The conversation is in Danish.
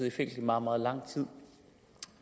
i fængsel i meget meget lang tid